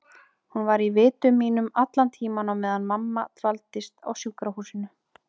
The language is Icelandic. Hún var í vitum mínum allan tímann á meðan mamma dvaldist á sjúkrahúsinu.